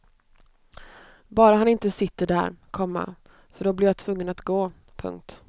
Bara han inte sitter där, komma för då blir jag tvungen att gå. punkt